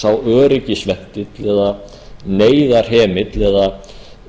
sá öryggisventill eða neyðarhemill eða